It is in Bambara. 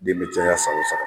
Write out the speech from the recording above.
Den be caya san o sa